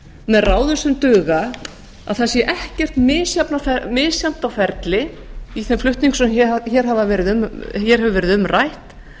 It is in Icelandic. með ráðum sem duga að það sé ekkert misjafnt á ferli i þeim flutningum sem hér hefur verið um rætt